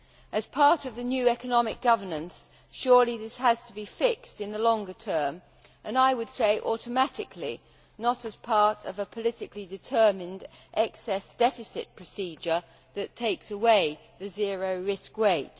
As part of the new economic governance, surely this has to be fixed in the longer term and I would say automatically, not as part of a politically determined excess deficit procedure that takes away the zero risk weight.